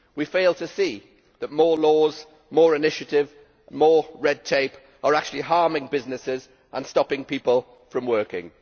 We fail to see that more laws, more initiatives, more red tape are actually harming businesses and stopping people from working.